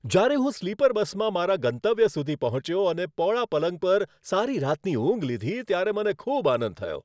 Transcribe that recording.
જ્યારે હું સ્લીપર બસમાં મારા ગંતવ્ય સુધી પહોંચ્યો અને પહોળા પલંગ પર સારી રાતની ઊંઘ લીધી, ત્યારે મને ખૂબ આનંદ થયો.